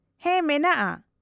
-ᱦᱮᱸ ᱢᱮᱱᱟᱜᱼᱟ ᱾